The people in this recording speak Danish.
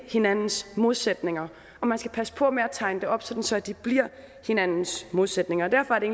hinandens modsætninger og man skal passe på med at tegne det op sådan så de bliver hinandens modsætninger og derfor er det